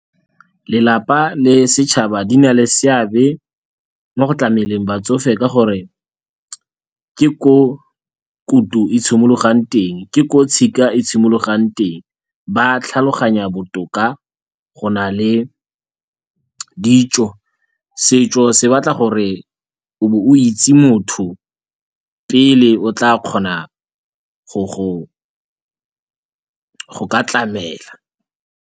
Lelapa le setšhaba di na le seabe mo go tlameleng batsofe ka gore ke ko kutu e simologang teng, ke ko tshika e simologang teng, ba tlhaloganya botoka go na le ditso. Setso se batla gore o be o itse motho pele o tla kgona go ka tlamela.